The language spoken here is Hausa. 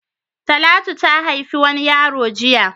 Talatu ha haifi wani yaro jiya.